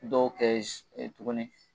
Dɔw kɛ tuguni